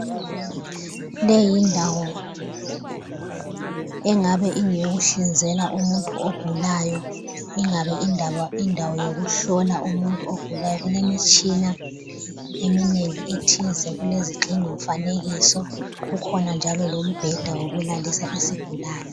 Le yindawo engabe ingeyokuhlinzela umuntu ogulayo ingabe indawo yokuhlola umuntu ogulayo. Kulemitshina eminengi ethize, kulezigxingi mfanekiso. Kukhona njalo lombheda wokulalisa isigulani. .